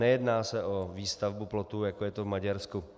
Nejedná se o výstavbu plotů, jako je to v Maďarsku.